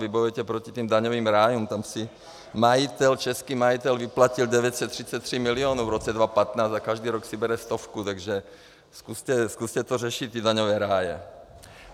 Vy bojujete proti těm daňovým rájům, tam si majitel, český majitel vyplatil 933 mil. v roce 2015 a každý rok si bere stovku, takže zkuste to řešit, ty daňové ráje.